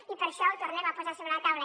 i per això ho tornem a posar sobre la taula